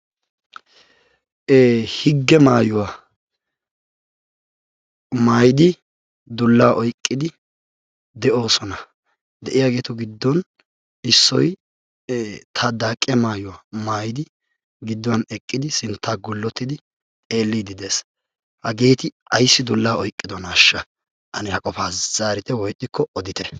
higge mayuwaa mayidi dulla oyqiidi de'osana. deiyaagetu giddon issoy taxaaqiyaa maayuwaa mayidi dulla oykdi de'osonataxake sintta gullotidi hageeti ayssi dullaa oyqqidonashsha!hano zaarite woykko odite.